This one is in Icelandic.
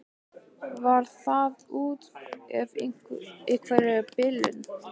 Var það út af einhverri bilun?